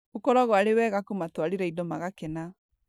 ũkoragwo arĩ wega kũmatwarĩra indo magakena.